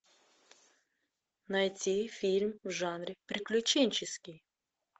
найти фильм в жанре приключенческий